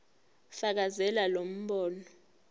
fakazela lo mbono